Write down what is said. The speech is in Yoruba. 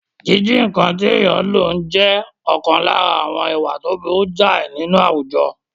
Jíjí nǹkan tí èèyàn ò nílò jẹ́ ọ̀kan lára àwọn ìwà tó burú jáì nínú àwùjọ